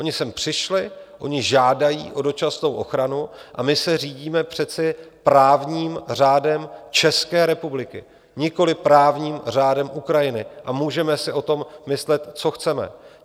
Oni sem přišli, oni žádají o dočasnou ochranu a my se řídíme přece právním řádem České republiky, nikoli právním řádem Ukrajiny, a můžeme si o tom myslet, co chceme.